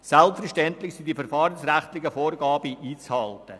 Selbstverständlich sind die verfahrensrechtlichen Vorgaben einzuhalten.